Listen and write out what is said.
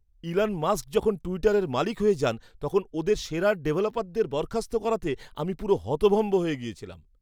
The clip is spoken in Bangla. ইলন মাস্ক যখন টুইটারের মালিক হয়ে যান, তখন ওদের সেরা ডেভেলপারদের বরখাস্ত করাতে আমি পুরো হতভম্ব হয়ে গেছিলাম।